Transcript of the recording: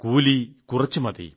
കൂലി കുറച്ചു മതി